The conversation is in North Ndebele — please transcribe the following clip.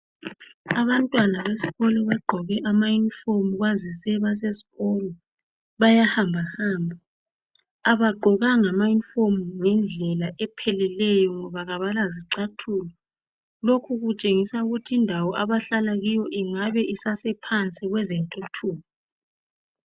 Abantwana besikolo bagqoke amayunifomu kwazise basesikolo. Bayahambahamba abagqokanga amayunifomu ngendlela epheleleyo ngoba kabalazicathulo. Lokhu kutshengisa ukuthi indawo abahlala kiyo ingabe isasephansi kwezentuthuko.